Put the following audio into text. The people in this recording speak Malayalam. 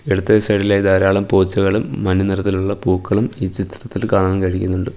ഇടത്തെ സൈഡ് ഇലായി ധാരാളം പോച്ചകളും മഞ്ഞ നിറത്തിലുള്ള പൂക്കളും ഈ ചിത്രത്തിൽ കാണാൻ കഴിയുന്നുണ്ട്.